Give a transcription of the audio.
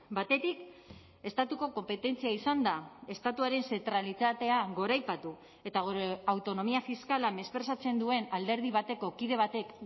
batetik estatuko konpetentzia izanda estatuaren zentralitatea goraipatu eta gure autonomia fiskala mesprezatzen duen alderdi bateko kide batek